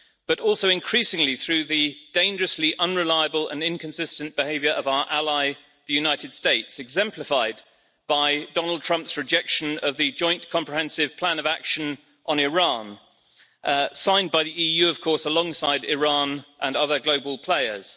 but also increasingly through the dangerously unreliable and inconsistent behaviour of our ally the USA, exemplified by Donald Trump's rejection of the Joint Comprehensive Plan of Action on Iran, signed by the EU, of course, alongside Iran and other global players.